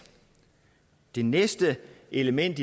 det næste element